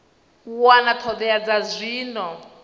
wana ṱho ḓea dza zwino